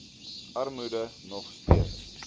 armoede nog steeds